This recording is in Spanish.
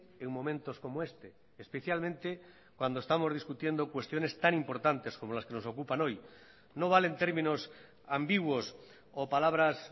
en momentos como este especialmente cuando estamos discutiendo cuestiones tan importantes como las que nos ocupan hoy no valen términos ambiguos o palabras